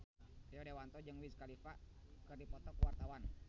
Rio Dewanto jeung Wiz Khalifa keur dipoto ku wartawan